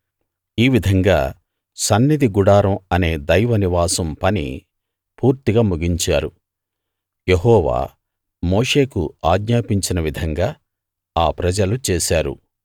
ఈ విధంగా సన్నిధి గుడారం అనే దైవ నివాసం పని పూర్తిగా ముగించారు యెహోవా మోషేకు ఆజ్ఞాపించిన విధంగా ఆ ప్రజలు చేశారు